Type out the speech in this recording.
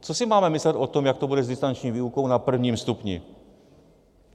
Co si máme myslet o tom, jak to bude s distanční výukou na prvním stupni?